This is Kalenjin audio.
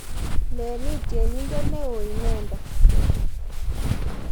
leni tyenindet neoo inendet